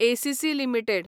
ACC limited